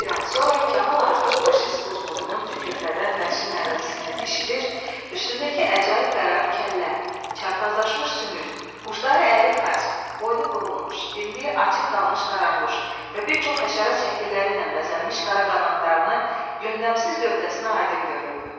Bir an sonra Kamal artıq faşist quzğununun tükürpədən vəhşi nəriltisini eşidir, üstündəki əcaib qərib kəllə, çarpazlaşmış sümük, bucluları əyri xaç, boynu burulmuş, dimdiyi açıq qalmış qaranquş və bir çox həşərat şəkilləri ilə bəzənmiş qara qanadlarını yöndəmsiz gövdəsinə aydın görürdü.